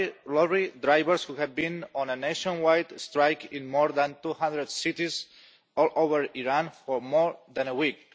lorry drivers who had been on a nationwide strike in more than 200 cities all over Iran for more than a week.